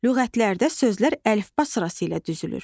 Lüğətlərdə sözlər əlifba sırası ilə düzülür.